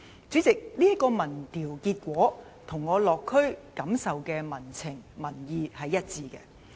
主席，這項民調結果與我落區感受到的民情民意是一致的。